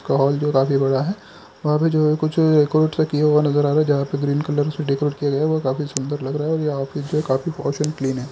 का हॉल जो काफी बड़ा है वहाँ पे जो है कुछ किया हुआ नज़र आ रहा है जहाँ पे ग्रीन कलर से डेकोरेट किया गया है वह काफी सुंदर लग रहा है और ये ऑफिस जो है काफी पॉश एंड क्लीन है।